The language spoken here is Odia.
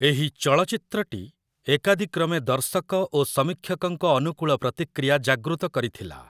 ଏହି ଚଳଚ୍ଚିତ୍ରଟି ଏକାଦିକ୍ରମେ ଦର୍ଶକ ଓ ସମୀକ୍ଷକଙ୍କ ଅନୁକୂଳ ପ୍ରତିକ୍ରିୟା ଜାଗୃତ କରିଥିଲା ।